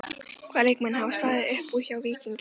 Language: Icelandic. Hvaða leikmenn hafa staðið upp úr hjá Víkingi í sumar?